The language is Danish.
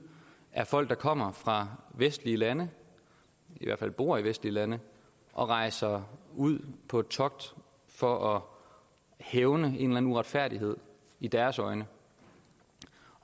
er folk der kommer fra vestlige lande i hvert fald bor i vestlige lande og rejser ud på togt for at hævne en uretfærdighed i deres øjne